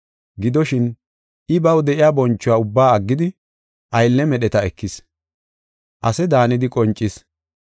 Gidoshin, I baw de7iya bonchuwa ubbaa aggidi, aylle medheta ekis; ase daanidi qoncis.